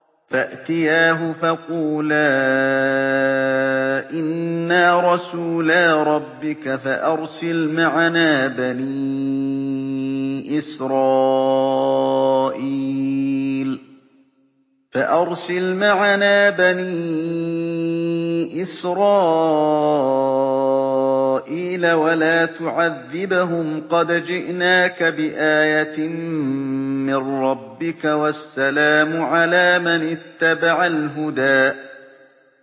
فَأْتِيَاهُ فَقُولَا إِنَّا رَسُولَا رَبِّكَ فَأَرْسِلْ مَعَنَا بَنِي إِسْرَائِيلَ وَلَا تُعَذِّبْهُمْ ۖ قَدْ جِئْنَاكَ بِآيَةٍ مِّن رَّبِّكَ ۖ وَالسَّلَامُ عَلَىٰ مَنِ اتَّبَعَ الْهُدَىٰ